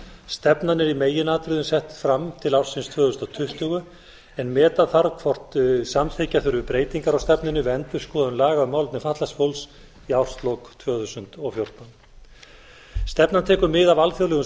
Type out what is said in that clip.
stefnan er í meginatriðum sett fram til ársins tvö þúsund tuttugu en meta þarf hvort samþykkja þurfi breytingar á stefnunni við endurskoðun laga um málefni fatlaðs fólks í árslok tvö þúsund og fjórtán stefnan tekur mið af alþjóðlegum